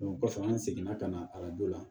kɔfɛ an seginna ka na arajo la